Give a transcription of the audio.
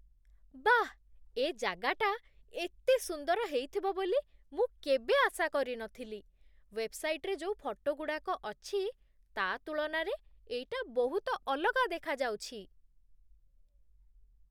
ବାଃ! ଏ ଜାଗାଟା ଏତେ ସୁନ୍ଦର ହେଇଥିବ ବୋଲି ମୁଁ କେବେ ଆଶା କରି ନ ଥିଲି । ୱେବ୍‌ସାଇଟ୍‌ରେ ଯୋଉ ଫଟୋଗୁଡ଼ାକ ଅଛି, ତା' ତୁଳନାରେ ଏଇଟା ବହୁତ ଅଲଗା ଦେଖାଯାଉଛି ।